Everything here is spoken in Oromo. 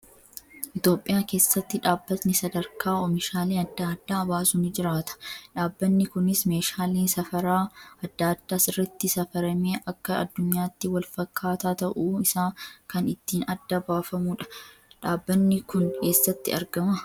Itoophiyaa keessatti dhaabbatni sadarkaa oomishaalee adda addaa baasu ni jiraata. Dhaabbanni kunis meeshaalee safaraa adda addaa sirriitti safaramee akka addunyaatti wal fakkaataa ta'uu isaa kan ittiin adda baafamudha. Dhaabbanni kun eessatti argamaa?